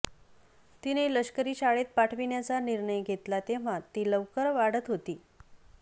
तिने लष्करी शाळेत पाठविण्याचा निर्णय घेतला तेव्हा ती लवकर वाढत होती